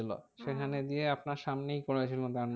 সেখানে গিয়ে আপনার সামনেই করেছিল